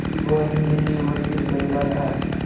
उसकी भौहें घनी और सिर गंजा था